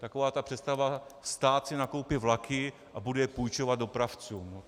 Taková ta představa - stát si nakoupí vlaky a bude je půjčovat dopravcům...